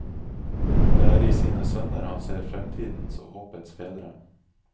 Det er i sine sønner han ser fremtidens og håpets fedre.